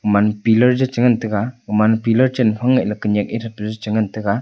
man pillar che ngan taiga uman pillar chen phang ei kenak ethe pe che ngan taiga.